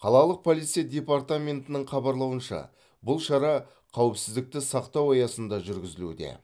қалалық полиция департаментінің хабарлауынша бұл шара қауіпсіздікті сақтау аясында жүргізілуде